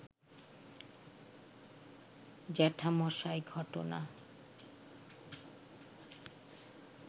জ্যাঠামশায় ঘটনা